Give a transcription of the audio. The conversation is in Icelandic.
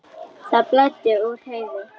Það blæddi úr Heiðu.